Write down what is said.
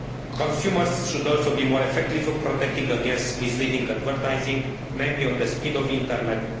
Consumers should also be more effectively protected against misleading advertising, namely on the speed of the internet.